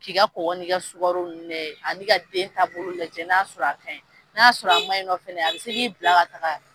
K'i ka kɔkɔ n'i ka sukaro ninnu lajɛ, ani ka den taabolo lajɛ n'a y'a sɔrɔ a ka ɲi, N'a y'a sɔr'a ma ɲi nɔ fɛnɛ, a bɛ se k'i bila ka taga